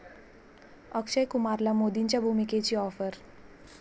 अक्षय कुमारला मोदींच्या भूमिकेची आॅफर